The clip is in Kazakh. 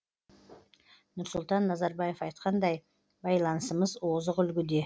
нұрсұлтан назарбаев айтқандай байланысымыз озық үлгіде